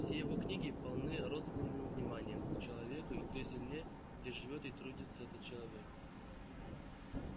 все его книги полны родственным вниманием к человеку и к той земле где живёт и трудится этот человек